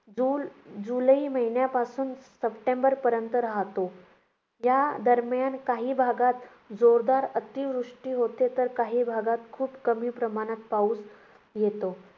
जून~ जुलै महिन्यापासून सप्टेंबरपर्यंत राहतो. यादरम्यान काही भागात जोरदार अतिवृष्टी होते, तर काही भागात खूप कमी प्रमाणात पाऊस येतो.